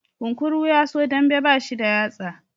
Kunkuru yaso dambe bashi da yatsa